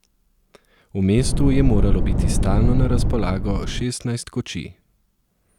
V mestu je moralo biti stalno na razpolago šestnajst kočij.